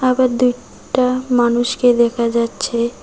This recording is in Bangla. আবার দুইটা মানুষকে দেখা যাচ্ছে।